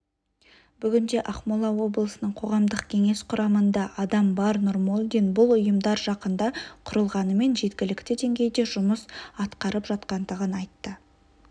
бүгінде ақмола облысының қоғамдық кеңес құрамында адам бар нұрмолдин бұл ұйымдар жақында құрылғанымен жеткілікті деңгейде жұмыс атқарып жатқандығын айтты